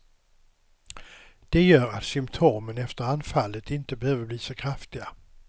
Det gör att symptomen efter anfallet inte behöver bli så kraftiga.